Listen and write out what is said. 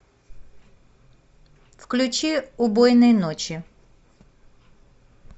включи убойной ночи